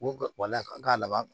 Ko wala k'a laban